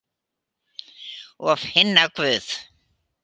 Og finna Guð.